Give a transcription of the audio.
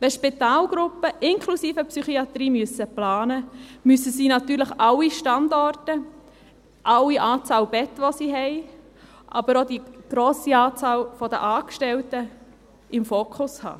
Wenn Spitalgruppen inklusive Psychiatrie planen müssen, müssen sie natürlich alle Standorte, mit der Anzahl aller Betten, die sie haben, aber auch die grosse Anzahl der Angestellten im Fokus haben.